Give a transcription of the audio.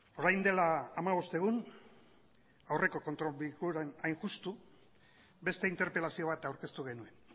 orain dela hamabost egun aurreko kontrolerako bilkuran hain justu beste interpelazio bat aurkeztu genuen